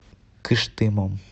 кыштымом